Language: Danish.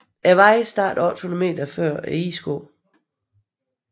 Vejen starter 800 meter før Isgård